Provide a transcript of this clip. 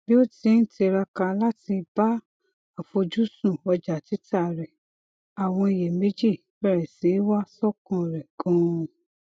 bí ó ti ń tiraka láti ba àfojúsùn ọjà tita rẹ àwọn iyèméjì bẹrẹ si i wa sọkan rẹ ganan